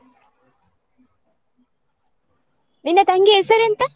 ನಿನ್ನ ತಂಗಿ ಹೆಸರೆಂತ?